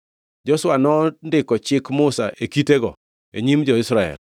Joshua nondiko chik Musa e kitego e nyim jo-Israel.